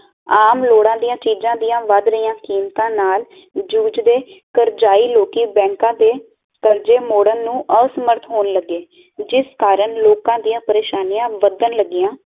ਆਮ ਲੋੜਾਂ ਦੀ ਚੀਜ ਦੀਆਂ ਵੱਧ ਰਹੀ ਕੀਮਤਾਂ ਨਾਲ ਜੁਜਦੇ ਕਰਜਾਈ ਲੋਕੀ ਬੈਂਕਾਂ ਦੇ ਕਰਜ਼ੇ ਮੋੜਣ ਨੂੰ ਅਸਮਰਥ ਹੋਣ ਲਗੇ ਜਿਸ ਕਾਰਨ ਲੋਕਾਂ ਦੀਆ ਪ੍ਰੇਸ਼ਾਨੀਆਂ ਵਦਨ ਲੱਗਿਆ